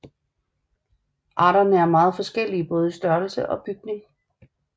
Arterne er meget forskellige både i størrelse og bygning